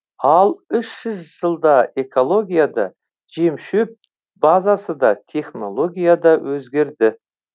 ал үш жүз жылда экология да жем шөп базасы да технология да өзгерді